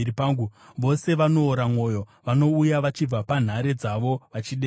Vose vanoora mwoyo; vanouya vachibva panhare dzavo vachidedera.